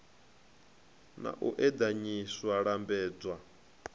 na u eḓanyisa u lambedzwa